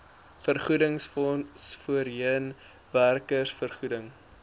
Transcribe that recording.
vergoedingsfonds voorheen werkersvergoeding